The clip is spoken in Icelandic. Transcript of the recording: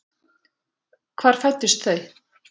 Hvar fæddust þau?